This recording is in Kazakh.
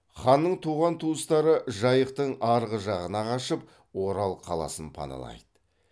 ханның туған туыстары жайықтың арғы жағына қашып орал қаласын паналайды